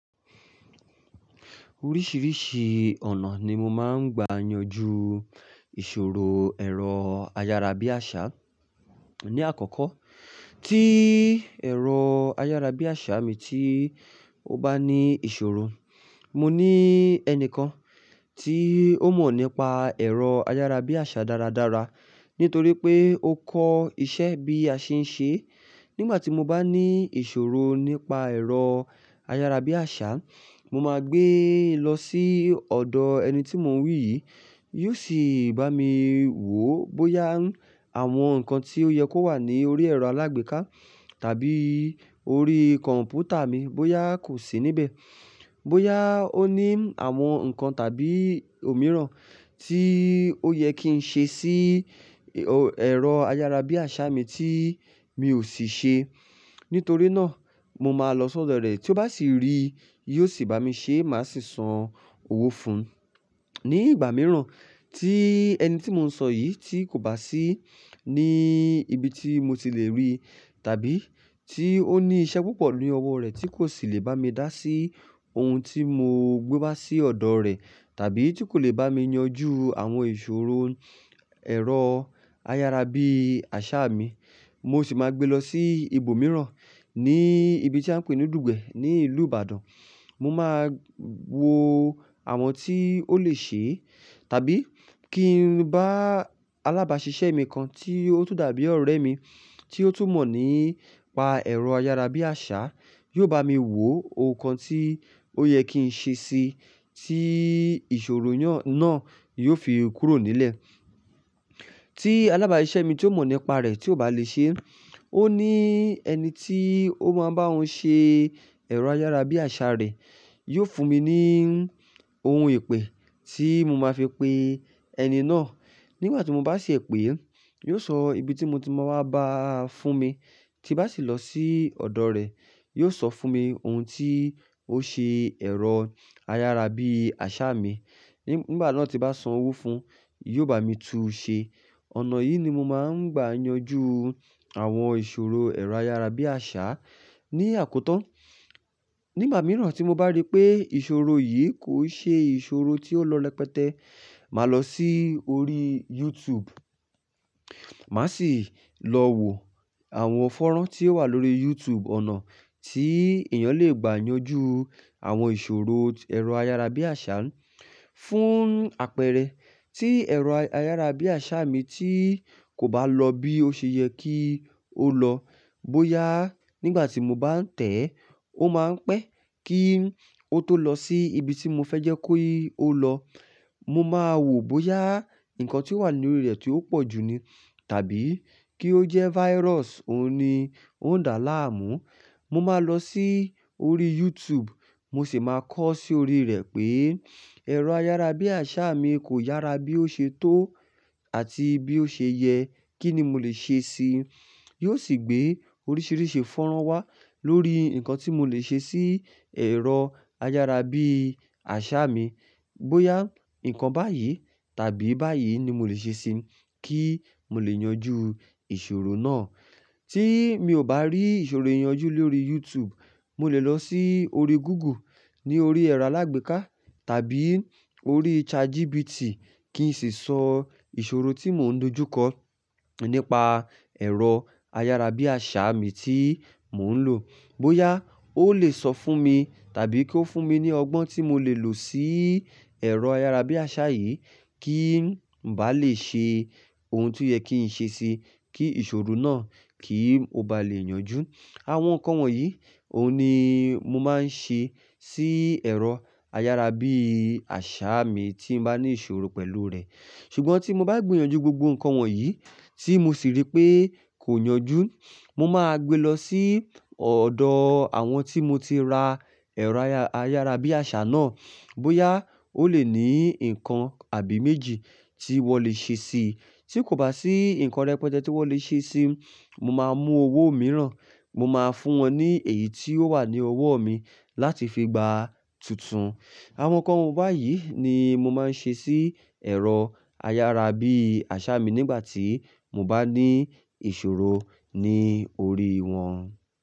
Oríṣìíríṣìí ọ̀nà ni mo máa ń gbà yanjú ìṣòro ẹ̀rọ ayárabíàṣá. Ní àkọ́kọ́, tí ẹ̀rọ ayárabíàṣá mi tí ó bá ní ìṣòro, mo ní ẹni kan tí ó mọ̀ nípa ẹ̀rọ ayárabíàṣá dáradára nítorí pé ó kọ́ iṣẹ́ bí a ṣe ń ṣe. Nígbà tí mo bá ní ìṣòro nípa ẹ̀rọ ayárabíàṣá, mo máa gbé lọ sí ọ̀dọ̀ ẹni tí mo ń wí yìí, yóò sì bá mi wò bóyá àwọn nǹkan tí ó yẹ kó wà ní orí ẹ̀rọ alágbèéká tàbí orí kọ̀m̀pútà mi bóyá kò sí níbẹ̀, bóyá ó ní àwọn nǹkan tàbí òmíràn tí ó yẹ kí n ṣe sí ẹ̀rọ ayárabíàṣá mi tí mi ò sì ṣe. Nítorí náà mo máa lọ sọ́dọ̀ rẹ tí ó bá sì rí, yóò sì bá mi ṣe má sì san owó fún un. Ní ìgbà mìíràn tí ẹni tí mo ń sọ yìí tí kò bá sí ní ibi tí mo ti lè rí tàbí tí ó ní iṣẹ́ púpọ̀ ní ọwọ́ rẹ̀ tí kò sì lè bá mi dá sí ohun tí mo gbé wá sí ọ̀dọ̀ rẹ̀ tàbí tí kò lè bá mi yanjú àwọn ìṣòro ẹ̀rọ ayárabíàṣá mi, mo sì máa gbé lọ sí ibòmíràn ní ibi tí à ń pè ní Dùgbẹ̀ ní ìlú Ìbàdàn. Mo máa wo àwọn tí ó lè ṣe tàbí kí ń bá alábàáṣiṣẹ́ mi kan tí ó tún dàbí ọ̀rẹ́ mi tí ó tún mọ̀ nípa ẹ̀rọ ayárabíàṣá, yóò bá mi wò ohun kan tí ó yẹ kí n ṣe sí i tí ìṣòro náà yóò fi kúrò nílẹ̀. Tí alábàáṣiṣẹ́ mi tí ó mọ̀ nípa rẹ̀ tí ó bá lè ṣe, ó ní ẹni tí ó máa ń bá òun ṣe ẹ̀rọ ayárabíàṣá rẹ̀, yóò fún mi ní ohun ìpè tí mo máa fi pe ẹni náà. Nígbà tí mo bá ṣe èpè, yóò sọ ibi tí mo ti máa wá bá fún mi tí bá sì lọ sí ọ̀dọ̀ rẹ̀, yóò sọ fún mi ohun tí ó ṣe ẹ̀rọ ayárabíàṣá mi. Nígbà náà tí bá san owó fún un, yóò bá mi tú u ṣe. Ọ̀nà yìí ni mo máa ń gbà yanjú àwọn ìṣòro ẹ̀rọ ayárabíàṣá ní àkótan. Nígbà mìíràn tí mo bá rí pé ìṣòro yìí kò ṣe ìṣòro tí ó lọrẹ́pẹ́té, màá lọ sí orí YouTube, màá sì lọ wo àwọn fọ́nrán tí ó wà lórí YouTube, ọ̀nà tí èèyàn lè gbà yanjú àwọn ìṣòro ẹ̀rọ ayárabíàṣá fún àpẹẹrẹ. Tí ẹ̀rọ ayárabíàṣá mi tí kò bá lọ bí ó ṣe yẹ kí ó lọ, bóyá nígbà tí mo bá ń tẹ̀ ẹ́, ó máa ń pẹ́ kí o tó lọ sí ibi tí mo fẹ́ jẹ́ ki i o lọ, mo máa wò bóyá nǹkan tí ó wà ní orí rẹ̀ tí ó pọ̀jù ni tàbí kí ó jẹ́ virus òun ni ó ń dà láàmú. Mo máa lọ sí orí YouTube, mo sì máa kọ́ sí orí rẹ̀ pé ẹ̀rọ ayárabíàṣá mi kò yára bí ó ṣe tó àti bí ó ṣe yẹ, kí ni mo lè ṣe sí i? Yóò sì gbé oríṣìíríṣìí fọ́nrán wá lórí nǹkan tí mo lè ṣe sí ẹ̀rọ ayárabíàṣá mi. Bóyá nǹkan báyìí tàbí báyìí ni mo lè ṣe sí i kí mo lè yanjú ìṣòro náà. Tí mi ò bá rí ìṣòro ìyanjú lórí YouTube, mo lè lọ sí orí Google ní orí ẹ̀rọ alágbèéká tàbí orí ChatGPT kí n sì sọ ìṣòro tí mò ń dojúkọ nípa ẹ̀rọ ayárabíàṣá mi tí mò ń lò. Bóyá ó lè sọ fún mi tàbí kí ó fún mi ní ọgbọ́n tí mo lè lò sí ẹ̀rọ ayárabíàṣá yìí kí n bá lè ṣe ohun tí ó yẹ kí n ṣe sí i kí ìṣòro náà kì í mo bá lè yanjú. Àwọn nǹkan wọ̀nyí, òun ni mo máa ń ṣe sí ẹ̀rọ ayárabíàṣá mi tí n bá ní ìṣòro pẹ̀lú rẹ̀. Ṣùgbọ́n tí mo bá gbìyànjú gbogbo nǹkan wọ̀nyí tí mo sì rí pé kò yanjú, mo máa gbé lọ sí ọ̀dọ̀ àwọn tí mo ti ra ẹ̀rọ ayárabíàṣá náà. Bóyá ó lè ní nǹkan àbí méjì tí wọ́n lè ṣe sí i. Tí kò bá sí nǹkan rẹ́pẹ́té tí wọ́n lè ṣe sí i, mo máa mú owó mìíràn, mo máa fún wọn ní èyí tí ó wà ní ọwọ́ mi láti fi gba tuntun. Àwọn nǹkan báyìí ni mo máa ń ṣe sí ẹ̀rọ ayárabíàṣá mi nígbà tí mo bá ní ìṣòro ní orí wọn.